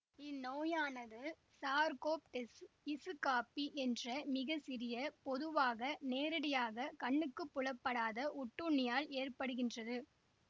இந்நோயானது Sarcoptes scabiei என்ற மிக சிறிய பொதுவாக நேரடியாக கண்ணுக்கு புலப்படாத ஒட்டுண்ணியால் ஏற்படுகின்றது